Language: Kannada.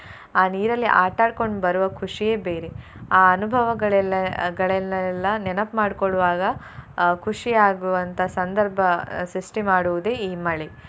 ಆ ನೀರಲ್ಲಿ ಆಟ ಆಡ್ಕೊಂಡ್ ಬರುವ ಖುಷಿಯೇ ಬೇರೆ ಆ ಅನುಭವಗಳೆಲ್ಲ ಗಳೆಲ್ಲ ನೆನಪ್ ಮಾಡ್ಕೊಳ್ವಾಗ ಅಹ್ ಖುಷಿ ಆಗುವಂತ ಸಂದರ್ಭ ಸೃಷ್ಟಿ ಮಾಡುವುದೇ ಈ ಮಳೆ.